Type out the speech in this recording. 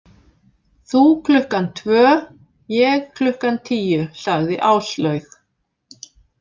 Þú klukkan tvö, ég klukkan tíu, sagði Áslaug.